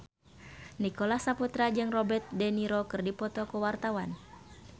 Nicholas Saputra jeung Robert de Niro keur dipoto ku wartawan